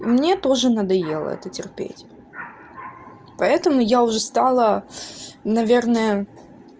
мне тоже надоело это терпеть поэтому я уже стала наверное